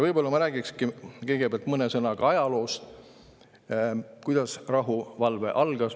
Võib-olla ma räägiksingi kõigepealt mõne sõnaga ajaloost, kuidas rahuvalve algas.